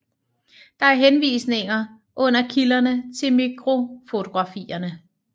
Der er henvisninger under kilderne til mikrofotografierne